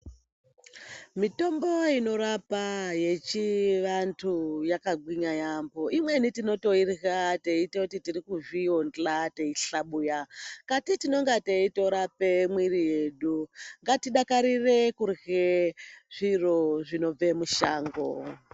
Mitombo inorapa yechivantu yakagwinya yaamho, imweni tinotoirya tichiti tirikuzviyonza teihlabuya. Kati tinenge teitorape mwiri yedu ngatidakarire kurye zviro zvinobve mushango.